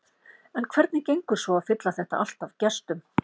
En hvernig gengur svo að fylla þetta allt af gestum?